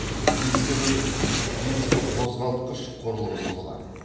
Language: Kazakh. дискінің дискіқозғалтқыш құрылғысы болады